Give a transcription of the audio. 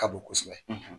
Ka bon kosɛbɛ